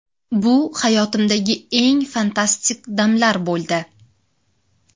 Bu hayotimdagi eng fantastik damlar bo‘ldi.